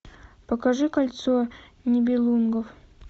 покажи кольцо нибелунгов